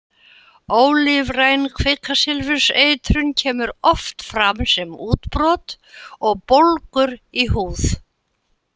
Ólífræn kvikasilfurseitrun kemur oft fram sem útbrot og bólgur í húð.